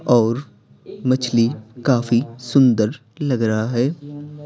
और मछली काफी सुंदर लग रहा है।